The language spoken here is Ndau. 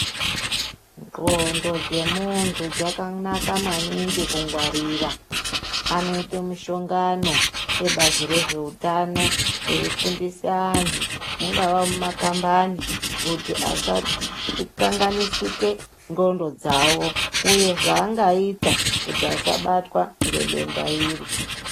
Ndxondo dzemuntu dzakanaka maningi kungwarira anoite mushongano ebazi rezveutano eifundise antu mungava mumakambani kuti asakanganisike ndxondo dzawo uye zvaangaita kuti asabatwa ngedenda iri.